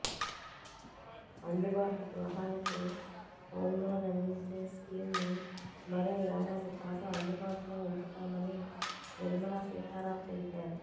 అందుబాటు గృహాలకు home loan అందించే స్కీమ్ను మరో ఏడాది పాటు అందుబాటులో ఉంచుతామని నిర్మలా సీతారామన్ తెలిపారు